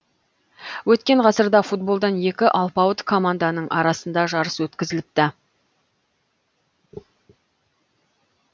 өткен ғасырда футболдан екі алпауыт команданың арасында жарыс өткізіліпті